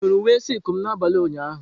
Ị hụrụ uwe silku m n'abalị ụnyaahụ?